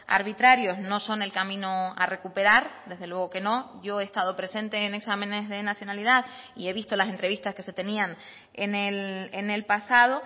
arbitrarios no son el camino a recuperar desde luego que no yo he estado presente en exámenes de nacionalidad y he visto las entrevistas que se tenían en el pasado